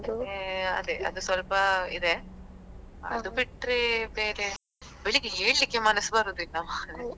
ಹ್ಮ್ ಅದೇ ಅದ್ ಸ್ವಲ್ಪ ಇದೆ ಅದ್ ಬಿಟ್ರೆ ಬೇರೆ ಬೆಳ್ಳಿಗೆ ಏಳ್ಲಿಕ್ಕೆ ಮನಸ್ ಬರುದಿಲ್ಲ